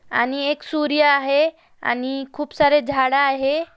आणि एक सूर्य आहे आणि खूप सारे झाड आहे.